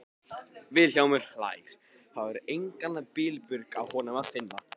Vilhjálmur hlær, það er engan bilbug á honum að finna.